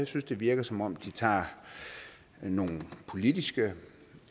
synes det virker som om de tager nogle politiske